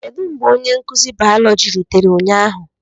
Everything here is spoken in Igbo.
Kedu mgbe onye nkuzi biology rutere ụnyahụ?